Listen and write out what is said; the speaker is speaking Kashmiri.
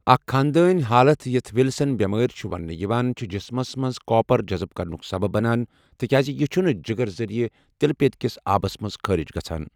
اکھ خانٛدٲنی حالت یتھ وِلسن بیمٲرۍ چھُ وننہٕ یِوان چھِ جسمس منٛز کاپر جَزٕب کرنُک سبب بَنان، تِکیازِ یہِ چھُنہٕ جگرٕ ذریعہٕ تِلہٕ پیٚتیکس آبس منٛز خٲرج گژھان۔